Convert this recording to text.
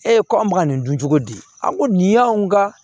Ee ko an bɛ ka nin dun cogo di a ko nin y'anw ka